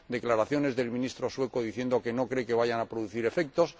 declaraciones del Ministro sueco, diciendo que no cree que vayan a producir efectos